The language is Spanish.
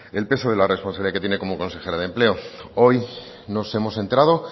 el peso de la responsabilidad que tiene como consejera de empleo hoy nos hemos enterado